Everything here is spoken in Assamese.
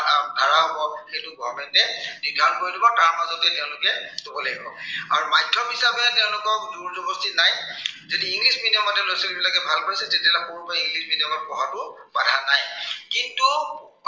আহ ভাড়া হব, সেইটো government এ নিৰ্ধাৰন কৰি দিব। তাৰ মাজতে তেওঁলোকে দিব লাগিব। আৰু মাধ্য়ম হিচাপে তেওঁলোকক জোৰ জবৰদস্তি নাই। যদি english medium তে লৰা-ছোৱালীবিলাকে ভাল পাইছে, তেতিয়া হলে সৰুৰো পৰা english medium ত পঢ়াত বাধা নাই । কিন্তু